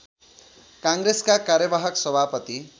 काङ्ग्रेसका कार्यवाहक सभापति